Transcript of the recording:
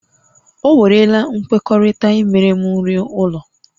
O werela nkwekọrịta imere m nri ụlọ